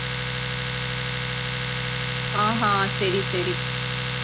ஹான் ஹான் சரி சரி